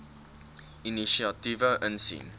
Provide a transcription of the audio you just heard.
inisiatiewe insien